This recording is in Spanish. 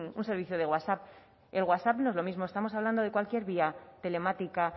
un servicio de whatsapp el whatsapp no es lo mismo estamos hablando de cualquier vía telemática